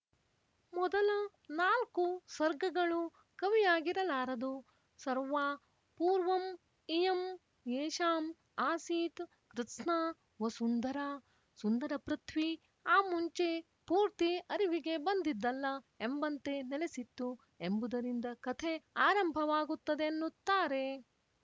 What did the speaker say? ಮೊದಲ ನಾಲ್ಕು ಸ್ವರ್ಗಗಳು ಕವಿಯಗಿಇರಲಾರದು ಸರ್ವಾ ಪೂರ್ವಂ ಇಯಂ ಯೇಷಾಂ ಆಸೀತ್ ಕೃತ್ಸ್ನಾ ವಸುಂಧರಾ ಸುಂದರಪೃಥ್ವೀ ಆ ಮುಂಚೆ ಪೂರ್ತಿ ಅರಿವಿಗೆ ಬಂದಿದ್ದಲ್ಲ ಎಂಬಂತೆ ನೆಲಸಿತ್ತು ಎಂಬುದರಿಂದ ಕತೆ ಆರಂಭವಾಗುತ್ತದೆ ಎನ್ನುತ್ತಾರೆ